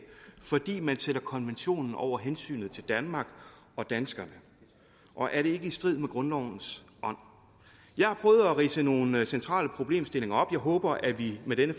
fordi man sætter konventionen over hensynet til danmark og danskerne og er det ikke i strid med grundlovens ånd jeg har prøvet at ridse nogle centrale problemstillinger op og jeg håber at vi med denne